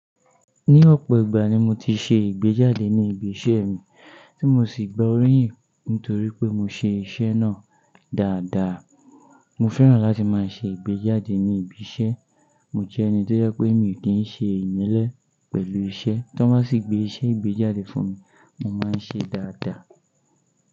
Ní ọ̀pọ̀ ìgbà ni mo ti ṣe ìgbéjáde ní ibi iṣẹ́ mi, tí mo sì gba oríyìn nítorí pé mo ṣe iṣẹ́ náà dáadáa. Mo fẹ́ràn láti máa ṣe ìgbéjáde ní ibi iṣẹ́. Mo jẹ́ ẹni tó jẹ pé mi ò kí i ṣe ìmẹ́lẹ́ pẹ̀lú iṣẹ́. Tí wọ́n bá sì gbé iṣẹ́ ìgbéjáde fún mi, mo máa ń ṣe dáadáa.